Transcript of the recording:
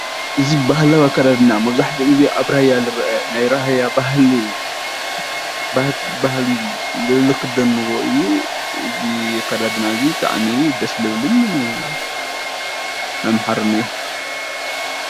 እዚ ባህላዊ ኣከዳድና መብዛሕትኡ ግዜ ኣብ ራያ ዝረአ ናይ ራያ ባህሊ ኢሎም ዝክደንዎ እዩ፡፡ እዚ ኣከዳድና እዚ ብጣዕሚ ደስ ዝብልን ኣምሓሪ እዩ።